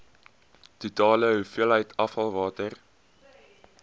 totale hoeveelheid afvalwater